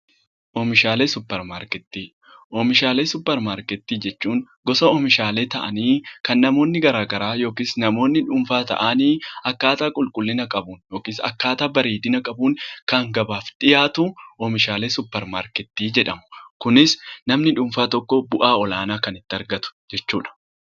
Oomishaalee suuparmarkeettii. Oomishaalee suuparmarkeettii jechuun gosa oomishaalee ta'anii kan namoonni garaa garaa yookis namoonni dhuunfaa ta'anii akkaataa qulqullina qabuun yookis akkaataa bareedina qabuun kan gabaaf dhiyaatu oomishaalee suupparmarkettii jedhama. Kunis namni dhuunfaa tokko bu'aa olaanaa kan itti argatu jechuudha.